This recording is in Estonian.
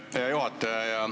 Aitäh, hea juhataja!